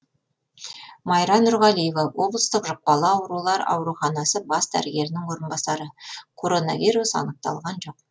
майра нұрғалиева облыстық жұқпалы аурулар ауруханасы бас дәрігерінің орынбасары коронавирус анықталған жоқ